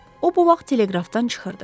O bu vaxt teleqrafdan çıxırdı.